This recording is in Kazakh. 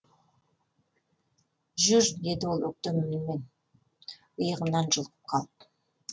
жүр деді ол өктем үнімен иығымнан жұлқып қалып